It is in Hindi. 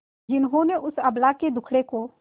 जिन्होंने उस अबला के दुखड़े को